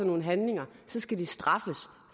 nogle handlinger skal de straffes